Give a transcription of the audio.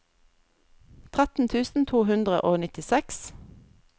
tretten tusen to hundre og nittiseks